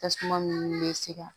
Tasuma ninnu bɛ se ka